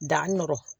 Da nɔrɔ